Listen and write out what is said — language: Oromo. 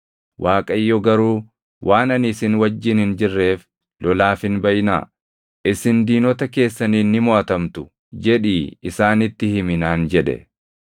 Waaqayyo garuu, “ ‘Waan ani isin wajjin hin jirreef lolaaf hin baʼinaa. Isin diinota keessaniin ni moʼatamtu’ jedhii isaanitti himi” naan jedhe.